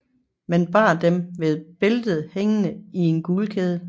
Man bar dem ved bæltet hængende i en guldkæde